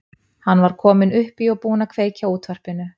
Hann var kominn upp í og búinn að kveikja á útvarpinu.